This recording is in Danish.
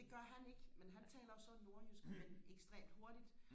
det gør han ikke men han taler jo så nordjysk men ekstremt hurtigt